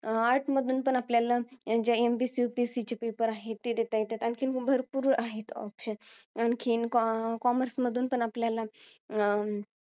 Art मधून पण आपल्याला ज्या MPSC, UPSC चे paper आहेत, ते देता येतात. आणखी भरपूर आहेत options आणखीन, commerce मधून पण आपल्याला, अं